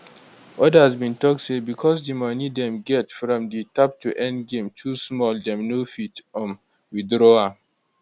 odas bin tok say bicos di money dem get from di tap to earn game too small dem no fit um withdraw am